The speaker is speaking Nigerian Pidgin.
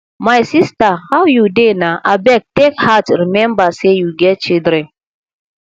my sister how you dey na abeg take heart remember say you get children